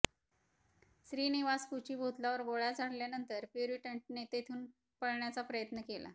श्रीनिवास कुचीभोतलावर गोळ्या झाडल्यानंतर प्युरिन्टनने तिथून पळण्याचा प्रयत्न केला